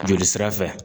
Joli sira fɛ